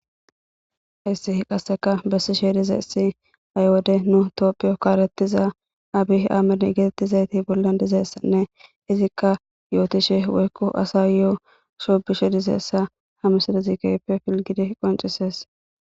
issi qasseka bessishe dizayssi ay wode nu tophiyo kaarettiza abi aamine getettizayti bolla dizeessanne izikka yootishe woykku asa yoo sho bishe dizeessa hamisada zikype filgidi qoncises